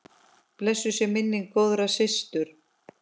Blessuð sé minning góðrar systur.